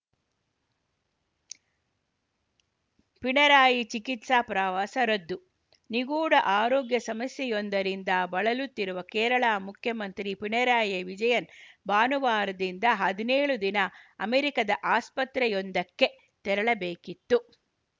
ಪಿಣರಾಯಿ ಚಿಕಿತ್ಸಾ ಪ್ರವಾಸ ರದ್ದು ನಿಗೂಢ ಆರೋಗ್ಯ ಸಮಸ್ಯೆಯೊಂದರಿಂದ ಬಳಲುತ್ತಿರುವ ಕೇರಳ ಮುಖ್ಯಮಂತ್ರಿ ಪಿಣರಾಯಿ ವಿಜಯನ್‌ ಭಾನುವಾರದಿಂದ ಹದಿನೇಳು ದಿನ ಅಮೆರಿಕದ ಆಸ್ಪತ್ರೆಯೊಂದಕ್ಕೆ ತೆರಳಬೇಕಿತ್ತು